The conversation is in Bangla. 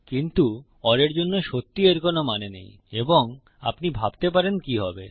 কিন্তু ওর এর জন্য সত্যিই এর কোনো মানে নেই এবং আপনি ভাবতে পারেন কি হবে